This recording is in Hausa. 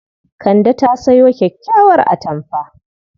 Kande ta sayo kyakkyawar atamfa.